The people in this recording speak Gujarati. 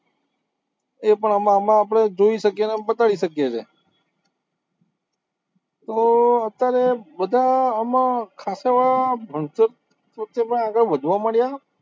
એ પણ આમાં આપણે જોઈ શકીએ છીએ ને બતાવી શકીએ છીએ તો અત્યારે બધા આમાં આગળ વધવા માંડયા